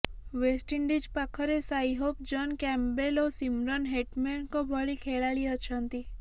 West Indies ପାଖରେ Shai Hope John Campbell ଓ Shimron ହେଟମେରଙ୍କ ଭଳି ଖେଳାଳି ଅଛନ୍ତି